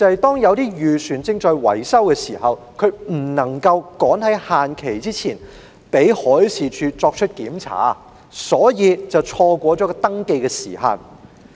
當一些漁船正在維修時，無法趕在限期前讓海事處檢查，所以便錯過了登記時限。